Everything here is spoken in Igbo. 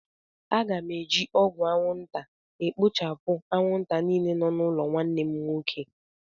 Aga m eji ọgwụ anwụnta ekpochapụ anwụnta niile nọ n'ụlọ nwanne m nwoke.